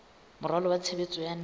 moralo wa tshebetso wa naha